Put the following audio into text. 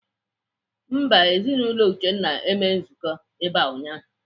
Mba, Ezinaụlọ Uchenna emeghị nzukọ ebe a ụnyaahụ.